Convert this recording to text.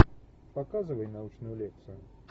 показывай научную лекцию